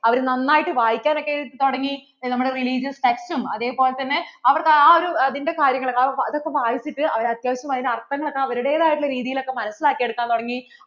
അവരു നന്നായിട്ട് വായിക്കാനൊക്കെ തൊടങ്ങി. നമ്മുടെ religious text അതേ പോലെ തന്നെ അവരുടെ ആ ഒരു അതിൻ്റെ കാര്യങ്ങൾ ഒക്കെ അത് ഒക്കെ വായിച്ചിട്ട് അവർ അത്യാവശ്യം അത്തിന്‍റെ അര്‍ത്ഥങ്ങളൊക്കെ അവരുടെതയ രീതിയിലൊക്കെ മനസിലാക്കിയെടുക്കാൻ തുടങ്ങി